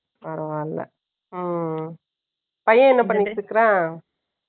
பரவாயில்லை. ம், பையன் என்ன பண்ணிட்டு இருக்கிறான்?